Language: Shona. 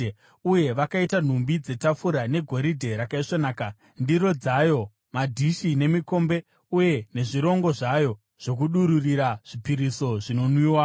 Uye vakaita nhumbi dzetafura negoridhe rakaisvonaka, ndiro dzayo, madhishi nemikombe uye nezvirongo zvayo zvokudururira zvipiriso zvinonwiwa.